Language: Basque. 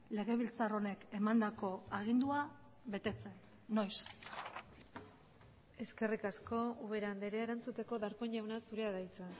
legebiltzar honek emandako agindua betetzen noiz eskerrik asko ubera andrea erantzuteko darpón jauna zurea da hitza